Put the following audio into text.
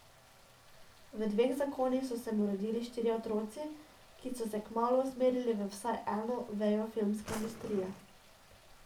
V dveh zakonih so se mu rodili štirje otroci, ki so se kmalu usmerili v vsaj eno vejo filmske industrije.